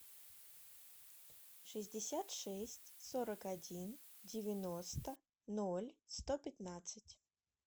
шестьдесят шесть сорок один девяносто ноль сто пятнадцать